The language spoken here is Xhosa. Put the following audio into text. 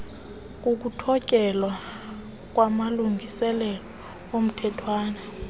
kokuthotyelwa kwamalungiselelo omthethwana